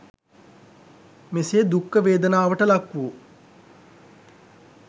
මෙසේ දුක්ඛ වේදනාවට ලක් වූ